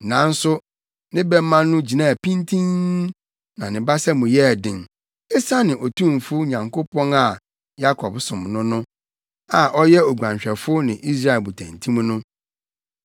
Nanso ne bɛma no gyinaa pintinn, na ne basa mu yɛɛ den; esiane Otumfo Nyankopɔn a Yakob som no no a ɔyɛ oguanhwɛfo ne Israel botantim no;